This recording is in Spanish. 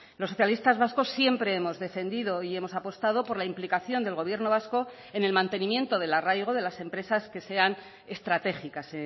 los socialistas vascos siempre hemos defendido y hemos apostado por la implicación del gobierno vasco en el mantenimiento del arraigo de las empresas que sean estratégicas